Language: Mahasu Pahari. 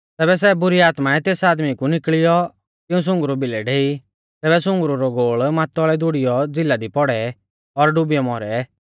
तैबै सै बुरी आत्माऐं तेस आदमी कु निकल़ी औ तिऊं सुंगरु भिलै डेई तैबै सुंगरु रौ गोल़ मातौल़ै दुड़ियौ झ़िला दी पौड़ै और डुबियौ मौरै